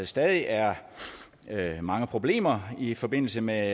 stadig er mange problemer i forbindelse med